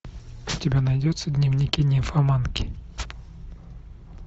у тебя найдется дневники нимфоманки